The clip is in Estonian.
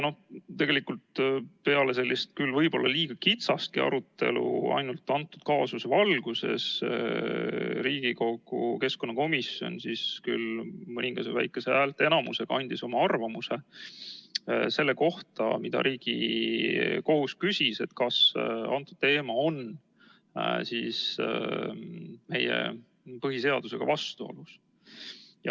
Tegelikult peale sellist võib-olla liiga kitsast arutelu ainult kõnealuse kaasuse valguses andis Riigikogu keskkonnakomisjon mõningase väikese häälteenamusega oma arvamuse selle kohta, mida Riigikohus küsis, et kas see teema on meie põhiseadusega vastuolus.